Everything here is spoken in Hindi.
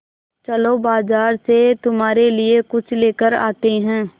चलो बाज़ार से तुम्हारे लिए कुछ लेकर आते हैं